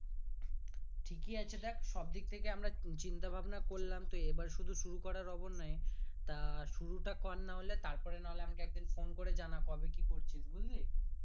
ঠিকই আছে দেখ সব দিক থেকে আমরা চিন্তা ভাবনা করলাম তো এবার শুধু শুরু করার অবনয় তা শুরুটা কর না হলে তার পর না হলে আমাকে একদিন phone করে জানা কবে কি করছিস বুজলি